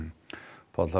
Páll það